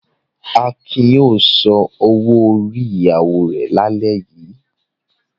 Akin yóò san owó-orí ìyàwó rẹ̀ lálẹ́ yìí.